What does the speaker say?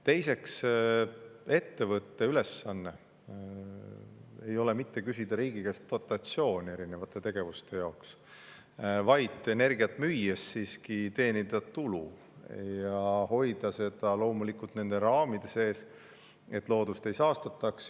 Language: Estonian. Teiseks, ettevõtte ülesanne ei ole mitte küsida riigi käest dotatsiooni erinevate tegevuste jaoks, vaid energiat müües siiski teenida tulu, aga hoida seda loomulikult nende raamide sees, et loodust ei saastataks.